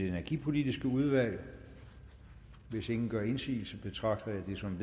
energipolitiske udvalg hvis ingen gør indsigelse betragter jeg det som